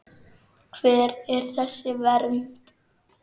Hver er þessi vernd?